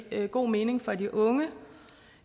giver god mening for de unge